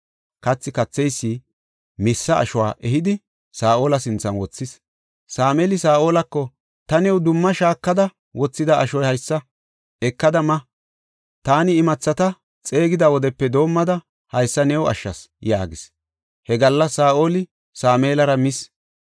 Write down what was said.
Kathi katheysi missa ashuwa ehidi, Saa7ola sinthan wothis. Sameeli Saa7olako, “Ta new dumma shaakada wothida ashoy haysa; ekada ma. Taani imathata xeegida wodepe doomada haysa new ashshas” yaagis. He gallas Saa7oli Sameelara mis.